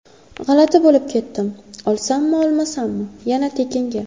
G‘alati bo‘lib ketdim: olsammi-olmasammi, yana... tekinga.